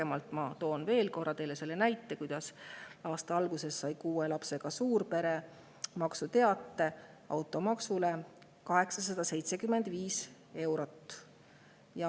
Ma toon teile veel korra selle näite, et aasta alguses sai kuue lapsega suurpere automaksuteate suuruses 875 eurot.